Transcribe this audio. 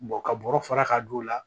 ka bɔrɔ fara ka don o la